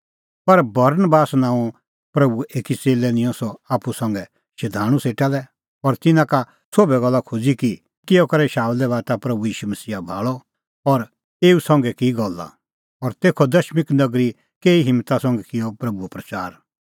पर बरनबास नांओंए प्रभूए एकी च़ेल्लै निंयं सह आप्पू संघै शधाणूं सेटा लै और तिन्नां का सोभै गल्ला खोज़ी कि किहअ करै शाऊलै बाता प्रभू ईशू मसीहा भाल़अ और एऊ संघै की गल्ला और तेखअ दमिश्क नगरी केही हिम्मता संघै किअ प्रभूओ प्रच़ार